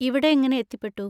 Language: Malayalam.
ഇവിടെ എങ്ങനെ എത്തിപ്പെട്ടു?